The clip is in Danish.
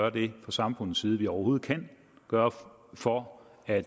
at vi fra samfundets side vi overhovedet kan gøre for at